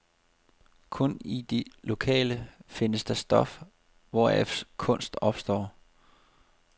Kun i det lokale findes det stof, hvoraf kunst opstår.